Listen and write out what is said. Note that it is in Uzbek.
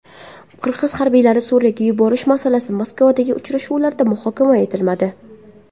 Qirg‘iz harbiylarini Suriyaga yuborish masalasi Moskvadagi uchrashuvlarda muhokama etilmadi.